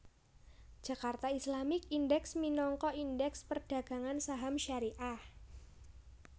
Jakarta Islamic Index minangka Indèks perdagangan saham syariah